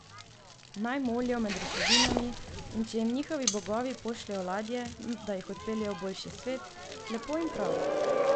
Naj molijo med ruševinami, in če jim njihovi bogovi pošljejo ladje, da jih odpeljejo v boljši svet, lepo in prav.